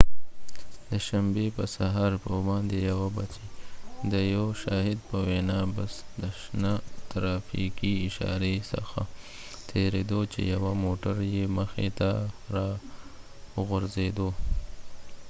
د شنبی په سهار 1:15 بچې د یو شاهد په وينا بس د شنه ترافیکې اشاری څخه تیریده چې یوه موټر یې مخی ته راوګرځیده